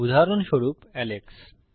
উদাহরণস্বরূপ আলেক্স